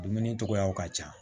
Dumuni cogoyaw ka ca